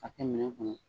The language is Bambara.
Ka kɛ minɛn kɔnɔ